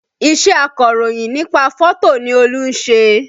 Iṣẹ́ akọ̀rọ̀yìn nípa fótò ni Olú ń ṣe